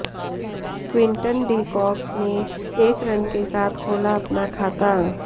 Quinton de Kock ने एक run के साथ खोला अपना खाता